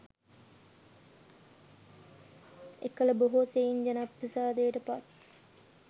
එකළ බොහෝ සෙයින් ජනප්‍රසාදයට පත්